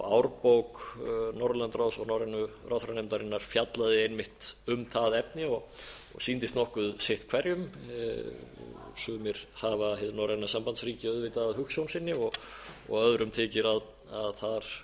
árbók norðurlandaráðs og norrænu ráðherranefndarinnar fjallaði einmitt um það efni og sýndist nokkuð sitt hverjum sumir hafa hið norræna sambandsríki auðvitað að hugsjón sinni og öðrum þykir að þar